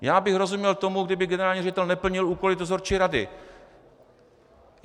Já bych rozuměl tomu, kdyby generální ředitel neplnil úkoly dozorčí rady.